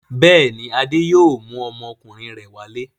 Bẹ́ẹ̀ ni, Adé yóò mú ọmọkùnrin rẹ̀ wálé.